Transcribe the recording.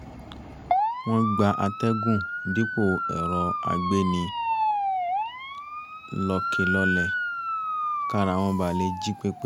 wọ́n gba àtẹ̀gùn dípò ẹ̀rọ àgbéni-lọkèlọlẹ̀ kára wọn ba lè jí pé pé